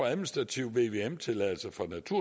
administrativ vvm tilladelse